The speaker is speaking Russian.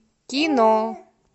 кино